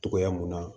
Togoya mun na